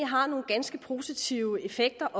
har nogle ganske positive effekter